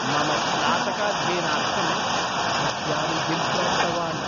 मम स्नातकाध्ययनार्थं विद्यानिधिं प्राप्तवान्।